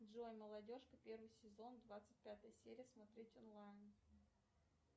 джой молодежка первый сезон двадцать пятая серия смотреть онлайн